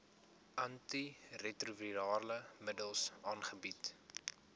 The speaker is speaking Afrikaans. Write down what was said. antiretrovirale middels aangebied